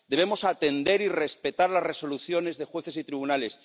Debemos atender y respetar las resoluciones de jueces y tribunales.